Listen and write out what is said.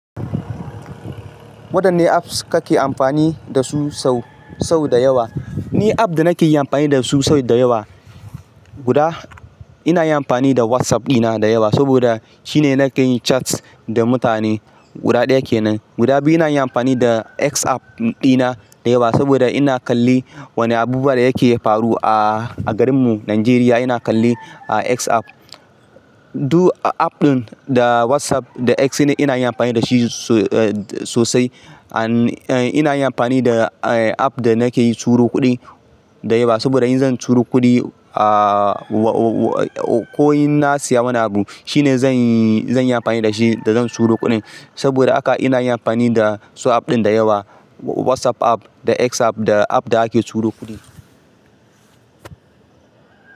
Wadanne apps kake amfani dasu sau, sau da yawa? Ni app da nake amfani dasu sau da yawa. Guda ina amfani da WhatsApp dina da yawa saboda shine nake yin chat da mutane guda ɗaya kenan. Guda biyu ina amfani da X app dina da yawa saboda ina kallon wane abubuwa da yake faruwa a garinmu Nijeriya ina kalle a X app. Duk app ɗin da WhatsApp da X ne ina amfani dashi sosai. Ina yin amfani da app da nake turo kuɗi da yawa saboda in zan turo kuɗi a ko in na siya wani abun shine zan yi, zan yi amfani da shi da zan turo kuɗin saboda haka ina amfani da su app ɗin da yawa, WhatsApp app da X app da app da ake turo kuɗi.